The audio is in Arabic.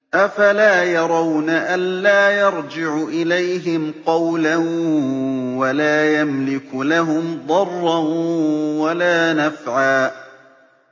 أَفَلَا يَرَوْنَ أَلَّا يَرْجِعُ إِلَيْهِمْ قَوْلًا وَلَا يَمْلِكُ لَهُمْ ضَرًّا وَلَا نَفْعًا